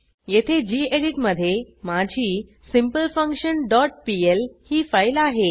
येथे गेडीत मधे माझी सिम्पलफंक्शन डॉट पीएल ही फाईल आहे